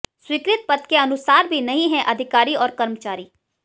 स्वीकृत पद के अनुसार भी नहीं हैं अधिकारी और कर्मचारी